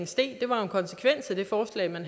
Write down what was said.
steg det var en konsekvens af det forslag man